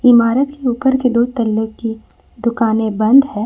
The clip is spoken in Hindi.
इमारत के ऊपर के दो तल्ले की दुकानें बंद है।